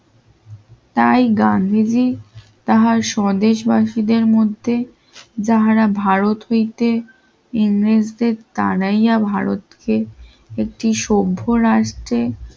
তাই গান নিজেই তাহার স্বদেশবাসীদের মধ্যে যাহারা ভারত হইতে ইংরেজদের তারাইয়া ভারতকে একটি সভ্য রাষ্ট্রের